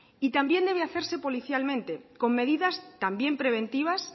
también debe hacerse policialmente con medidas también preventivas